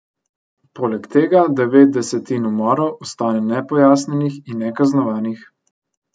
Poleg tega devet desetin umorov ostane nepojasnjenih in nekaznovanih.